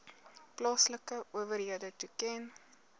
plaaslike owerhede toeken